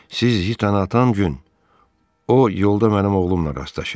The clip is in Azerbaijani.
Siz hitanı atan gün o yolda mənim oğlumla rastlaşır.